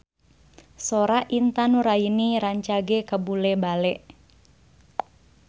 Sora Intan Nuraini rancage kabula-bale